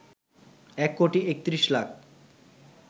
১ কোটি ৩১ লাখ